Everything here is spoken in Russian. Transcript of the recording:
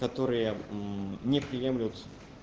которые не приемлют